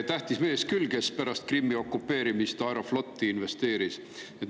Tähtis mees, kes pärast Krimmi okupeerimist Aeroflotti investeeris.